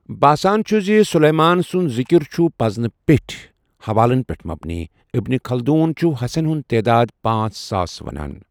باسان چھُ زِ سلیمان سُنٛد ذكر چھُ پزنہٕ پیٚٹھۍ حوالن پٮ۪ٹھ مبنی، ابن خلدون چھُ ہسٮ۪ن ہُنٛد تعداد پانژھ ساس وَنان۔